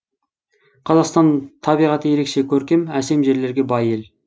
қазақстан табиғаты ерекше көркем әсем жерлерге бай ел